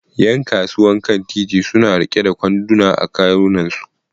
Yan kasuwan kan titi suna riƙe da kwanduna a kawunansu